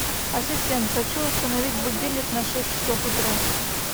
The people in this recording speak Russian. ассистент хочу установить будильник на шесть часов утра